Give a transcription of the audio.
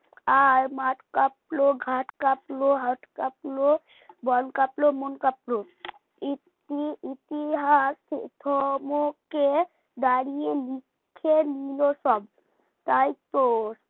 আর মাঠ কাঁপলো ঘাট কাঁপলো হাত কাঁপলো বন কাঁপলো মন কাপলো ইতি ইতিহাস থমকে দাঁড়িয়ে লিখে নিল সব তাইতো